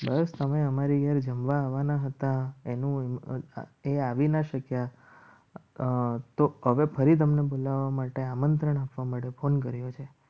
બસ હવે અમારી ઘેર જમવા આવવાના હતા. એનું એ આવી ના શક્યા. તો ખબર ફરી તમને બોલાવવા માટે આમંત્રણ આપવા માટે phone કર્યો છે.